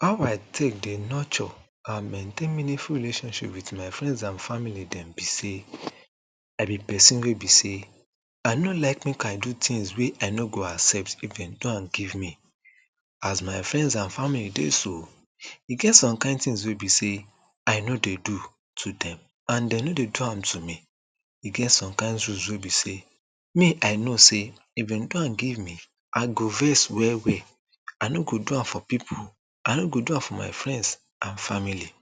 how i take dey norture and maintain meaningful relationship with my friends and family dem be sey i be pesin wey be sey i no like make i do things wey i no go accept if dem do am give me as my friends and family dey so e get some kind tings wey be sey i no dey do to them and they no dey do am to me e get some kind rules wey be sey me i no sey if dem do am give me i go vex well well i no go do am for people i no go do am for my friends and family